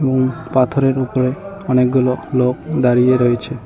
উম পাথরের উপরে অনেকগুলো লোক দাঁড়িয়ে রয়েছে।